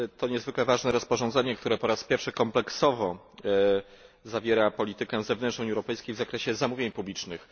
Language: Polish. To niezwykle ważne rozporządzenie, które po raz pierwszy kompleksowo obejmuje politykę zewnętrzną Unii Europejskiej w zakresie zamówień publicznych.